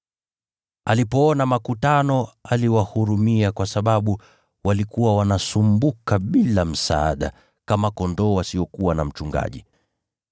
Alipoona makutano, aliwahurumia kwa sababu walikuwa wanasumbuka bila msaada, kama kondoo wasiokuwa na mchungaji.